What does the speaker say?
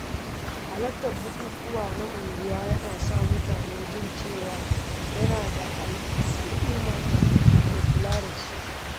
Halartar bukukuwa na unguwa yana sa mutum jin cewa yana da al’ummar da ke kula da shi.